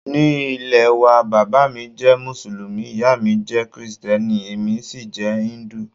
Ní ilé waa, bàbá mi jẹ́ Mùsùlùmí, ìyá mi jẹ́ Kristẹni, èmi sì jẹ́ íńdù.